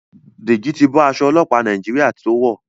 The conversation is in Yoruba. Deji ti bó Aṣọ ọlọpa Nàìjíríà to wọ.